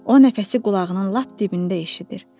O nəfəsi qulağının lap dibində eşidir.